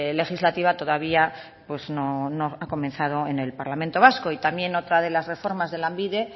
legislativa todavía no ha comenzado en el parlamento vasco y también otra de las reformas de lanbide